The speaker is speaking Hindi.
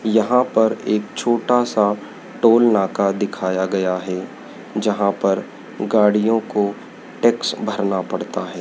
यहां पर एक छोटा सा टोल नाका दिखाया गया है जहां पर गाड़ियों को टैक्स भरना पड़ता है।